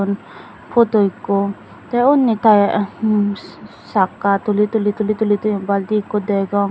photo ekko tey unni taya emm sakka tuli tuli tuli tuli toyon balti ekko degong.